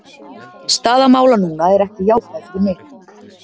Staða mála núna er ekki jákvæð fyrir mig.